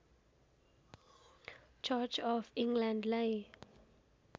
church of इङ्ग्ल्यान्डलाई